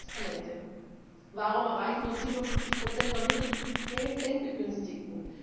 Finanzinstrumente Warum erreichen nur 47 der Mittel die Endbegünstigten?